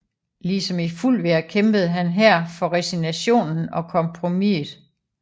Ligesom i Fulvia kæmpede han her for resignationen og kompromiset